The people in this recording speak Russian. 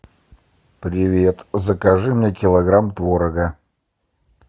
привет закажи мне килограмм творога